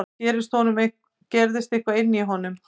Þá gerðist eitthvað inní honum.